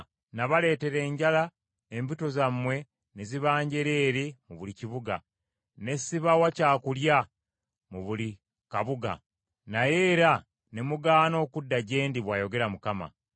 “Nabaleetera enjala embuto zammwe ne ziba njereere mu buli kibuga, ne ssibawa kyakulya mu buli kabuga, naye era ne mugaana okudda gye ndi,” bw’ayogera Mukama .